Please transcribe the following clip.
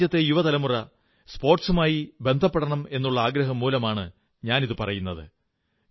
നമ്മുടെ രാജ്യത്തെ യുവതലമുറ സ്പോർട്സുമായി ബന്ധപ്പെടണമെന്നുള്ള ആഗ്രഹം മൂലമാണു ഞാനിതു പറയുന്നത്